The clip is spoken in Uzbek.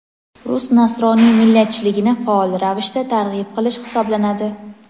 rus nasroniy millatchiligini faol ravishda targ‘ib qilish hisoblanadi.